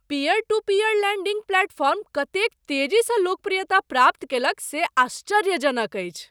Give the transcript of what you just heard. Peer to peer lending platform कतेक तेजीसँ लोकप्रियता प्राप्त कयलक से आश्चर्यजनक अछि ।